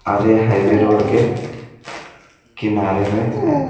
आरे ये highway road के किनारे में हैं।